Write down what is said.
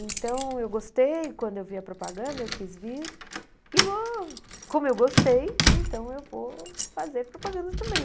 Então eu gostei, quando eu vi a propaganda eu quis vir e vou, como eu gostei, então eu vou fazer propaganda também.